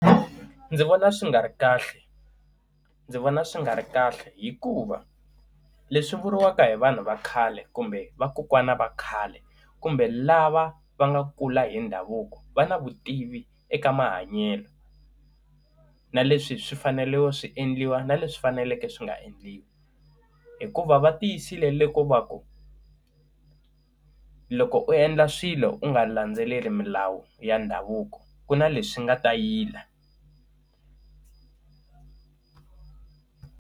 Ndzi vona swi nga ri kahle. Ndzi vona swi nga ri kahle hikuva, leswi vuriwaka hi vanhu va khale kumbe vakokwana va khale kumbe lava va nga kula hi ndhavuko, va na vutivi eka mahanyelo. Na leswi swi fanerile swi endliwa na leswi faneleke swi nga endliwi hikuva va tiyisile loko va ku, loko u endla swilo u nga landzeleli milawu ya ndhavuko ku na leswi nga ta yila.